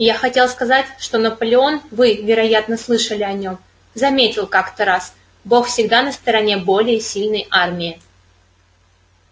я хотел сказать что наполеон вы вероятно слышали о нем заметил как-то раз бог всегда на стороне более сильной армии